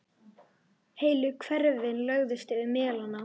Heilu hverfin lögðust yfir melana.